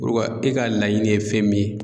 Ulu ka e ka laɲini ye fɛn min ye